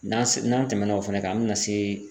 N'an se n'an tɛmɛna o fana kan an bɛ na se